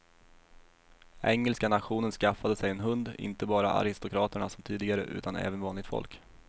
Engelska nationen skaffade sig hund, inte bara aristokraterna som tidigare utan även vanligt folk.